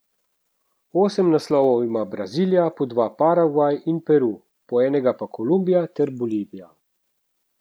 Osem naslovov ima Brazilija, po dva Paragvaj in Peru, po enega pa Kolumbija ter Bolivija.